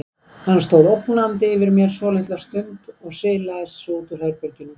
Hann stóð ógnandi yfir mér svolitla stund og silaðist svo út úr herberginu.